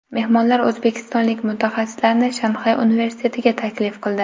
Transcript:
Mehmonlar o‘zbekistonlik mutaxassislarni Shanxay universitetiga taklif qildi.